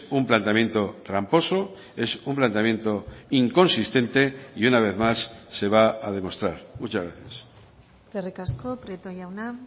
un planteamiento tramposo es un planteamiento inconsistente y una vez más se va a demostrar muchas gracias eskerrik asko prieto jauna